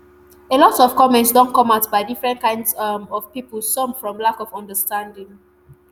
a lot of comments don come out by different kinds um of pipo some from lack of understanding